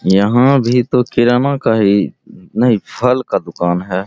यहां भी तो किराना का ही नहीं फल का दुकान है।